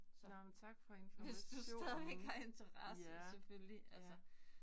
Nåh, men tak for informationen. Ja, ja